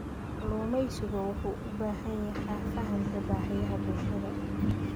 Kalluumeysigu wuxuu u baahan yahay fahamka baahiyaha bulshada.